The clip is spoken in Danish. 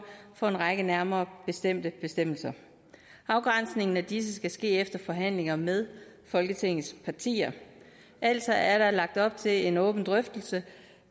for en række nærmere bestemte bestemmelser afgrænsningen af disse skal ske efter forhandlinger med folketingets partier altså er der lagt op til en åben drøftelse